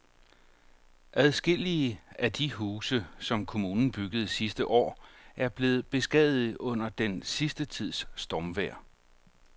Adskillige af de huse, som kommunen byggede sidste år, er blevet beskadiget under den sidste tids stormvejr.